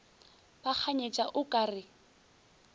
ba kganyetša o ka re